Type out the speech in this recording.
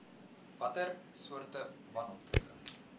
watter soorte wanoptrede